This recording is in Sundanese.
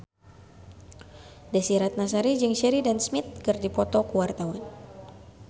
Desy Ratnasari jeung Sheridan Smith keur dipoto ku wartawan